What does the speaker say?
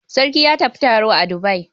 Sarki ya tafi taro a Dubai.